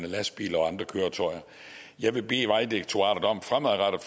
lastbil og andre køretøjer jeg vil bede vejdirektoratet om fremadrettet